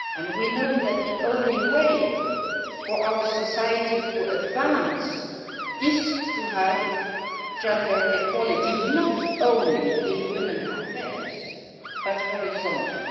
We know that the only way for our society to advance is to have gender equality, not only in women's affairs but horizontally.